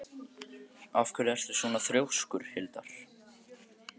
Af hverju ertu svona þrjóskur, Hildar?